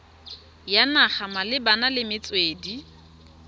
ya naga malebana le metswedi